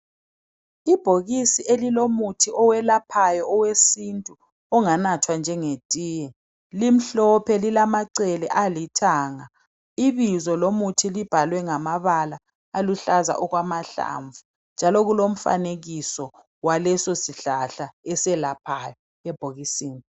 Ibhokisi elilomuthi owelaphayo owesintu onganathwa njengetiye limhlophe lilamacele alithanga ibizo lomuthi libhalwe ngamabala aluhlaza okwamahlamvu njalo kulomfanekiso walesosihlahla eselaphayo ebhokisini.